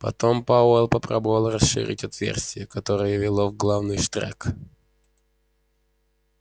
потом пауэлл попробовал расширить отверстие которое вело в главный штрек